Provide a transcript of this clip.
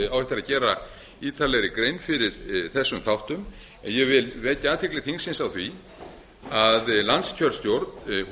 að gera ítarlegri grein fyrir þessum þáttum en ég vil vekja athygli þingsins á því að landskjörstjórn